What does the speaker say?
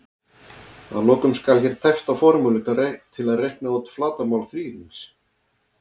Að lokum skal hér tæpt á formúlu til að reikna út flatarmál þríhyrnings: